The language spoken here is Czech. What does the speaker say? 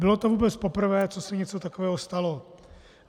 Bylo to vůbec poprvé, co se něco takového stalo.